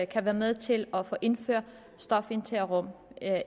kan være med til at få indført stofindtagerrum